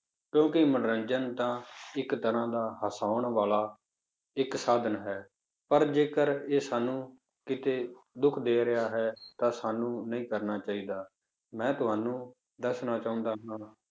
ਕਿਉਂਕਿ ਮਨੋਰੰਜਨ ਤਾਂ ਇੱਕ ਤਰ੍ਹਾਂ ਦਾ ਹਸਾਉਣ ਵਾਲਾ ਇੱਕ ਸਾਧਨ ਹੈ, ਪਰ ਜੇਕਰ ਇਹ ਸਾਨੂੰ ਕਿਤੇ ਦੁੱਖ ਦੇ ਰਿਹਾ ਹੈ ਤਾਂ ਸਾਨੂੰ ਨਹੀਂ ਕਰਨਾ ਚਾਹੀਦਾ, ਮੈਂ ਤੁਹਾਨੂੰ ਦੱਸਣਾ ਚਾਹੁੰਦਾ ਹਾਂ